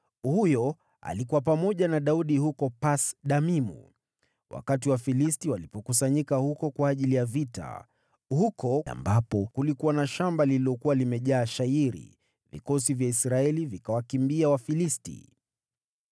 Huyo alikuwa pamoja na Daudi huko Pas-Damimu, wakati Wafilisti walikusanyika huko kwa ajili ya vita. Huko ambapo kulikuwa na shamba lililokuwa limejaa shayiri, vikosi vya Israeli vikawakimbia Wafilisti.